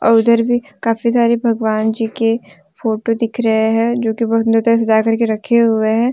उधर भी काफी सारे भगवान जी के फोटो दिख रहे हैं जो की बहोत सुंदर तरीके से सजा के रखे हुए हैं।